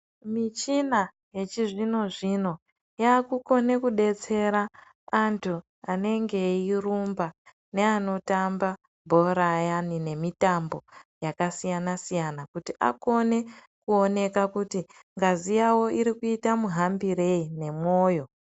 Michina yechizvino zvino yakukonekubetsera anenge eirumaba neanotaba bhora ayani nemitamboyakasiyana siyana kuti akone kuona kuti ngazi yawo irikuita muhambirei nemwoyo